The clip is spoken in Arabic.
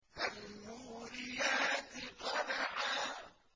فَالْمُورِيَاتِ قَدْحًا